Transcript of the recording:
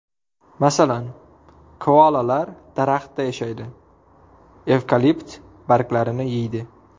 Masalan, koalalar daraxtda yashaydi, evkalipt barglarini yeydi.